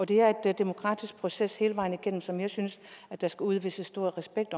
det er en demokratisk proces hele vejen igennem som jeg synes der skal udvises stor respekt